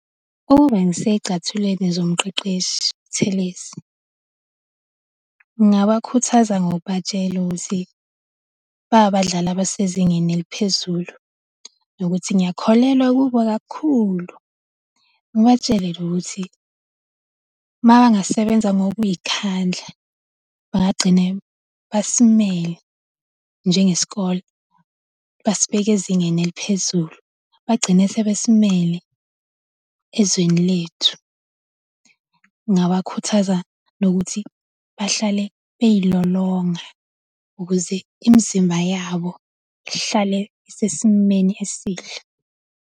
Ukube ngisey'cathulweni zomqeqeshi uButhelezi, ngingabakhuthaza ngokubatshela ukuthi bangabadlali abasezingeni eliphezulu kakhulu nokuthi ngiyakholelwa kubo kakhulu. Ngibatshele nje ukuthi uma bangasebenza ngokuy'khandla bangagcine basimele njengesikole basibeke ezingeni eliphezulu, bagcine sebesimele ezweni lethu. Ngingabakhuthaza nokuthi bahlale bey'lolonga ukuze imizimba yabo ihlale isesimeni esihle.